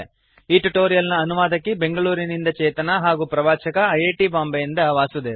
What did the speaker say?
ಈ ಟ್ಯುಟೋರಿಯಲ್ ನ ಅನುವಾದಕಿ ಬೆಂಗಳೂರಿನಿಂದ ಚೇತನಾ ಹಾಗೂ ಪ್ರವಾಚಕ ಐ ಐ ಟಿ ಬಾಂಬೆಯಿಂದ ವಾಸುದೇವ